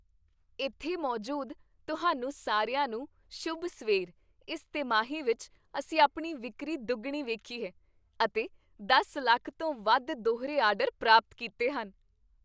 ਇੱਥੇ ਮੌਜੂਦ ਤੁਹਾਨੂੰ ਸਾਰਿਆਂ ਨੂੰ, ਸ਼ੁਭ ਸਵੇਰ ਇਸ ਤਿਮਾਹੀ ਵਿੱਚ ਅਸੀਂ ਆਪਣੀ ਵਿਕਰੀ ਦੁੱਗਣੀ ਵੇਖੀ ਹੈ ਅਤੇ ਦਸ ਲੱਖ ਤੋਂ ਵੱਧ ਦੂਹਰੇ ਆਰਡਰ ਪ੍ਰਾਪਤ ਕੀਤੇ ਹਨ